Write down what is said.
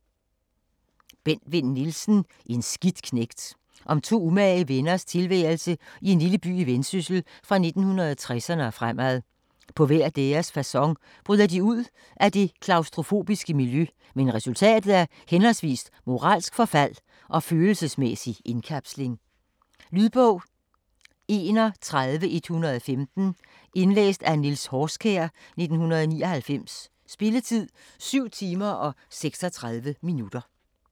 Vinn Nielsen, Bent: En skidt knægt Om to umage venners tilværelse i en lille by i Vendsyssel fra 1960'erne og fremad. På hver deres facon bryder de ud af det klaustrofobiske miljø, men resultatet er henholdsvis moralsk forfald og følelsesmæssig indkapsling. Lydbog 31115 Indlæst af Niels Horskjær, 1999. Spilletid: 7 timer, 36 minutter.